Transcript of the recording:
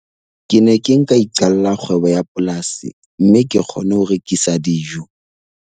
Ke ne ke nka iqalla kgwebo ya polasi mme ke kgone ho rekisa dijo.